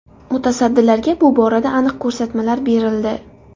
Mutasaddilarga bu borada aniq ko‘rsatmalar berildi.